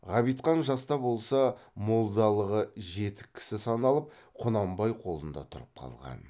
ғабитхан жас та болса молдалығы жетік кісі саналып құнанбай қолында тұрып қалған